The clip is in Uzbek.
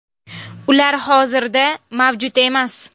Ular hozirda mavjud emas.